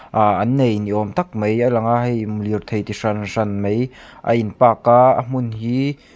ahh an nei ni awm tak mai a lang a hei mm lir thei chi hran hran mai a in park a a hmun hi--